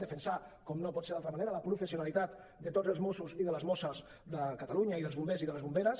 defensar com no pot ser d’una altra manera la professionalitat de tots els mossos i de les mosses de catalunya i dels bombers i de les bomberes